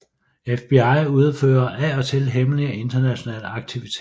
FBI udfører af og til hemmelige internationale aktiviteter